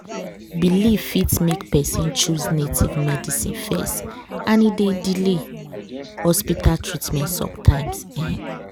belief fit make person choose native medicine first and e dey delay hospital treatment sometimes. um